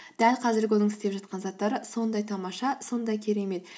дәл қазіргі оның істеп жатқан заттары сондай тамаша сондай керемет